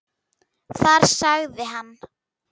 Þar sagði hann